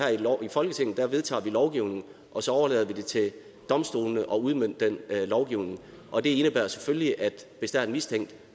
i folketinget vedtager vi lovgivningen og så overlader vi det til domstolene at udmønte den lovgivning og det indebærer selvfølgelig at hvis der er en mistænkt